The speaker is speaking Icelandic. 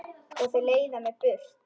Og þau leiða mig burt.